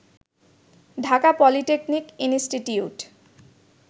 Dhaka polytechnic institute